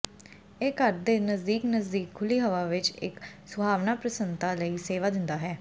ਇਹ ਘਰ ਦੇ ਨਜ਼ਦੀਕ ਨਜ਼ਦੀਕ ਖੁੱਲ੍ਹੀ ਹਵਾ ਵਿਚ ਇਕ ਸੁਹਾਵਣਾ ਪ੍ਰਸੰਨਤਾ ਲਈ ਸੇਵਾ ਦਿੰਦਾ ਹੈ